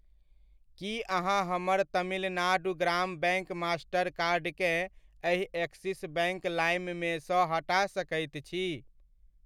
की अहाँ हमर Tamil Nadu Grama bank Mastercard केँ एहि एक्सिस बैङ्क लाइम मेसँ हटा सकैत छी?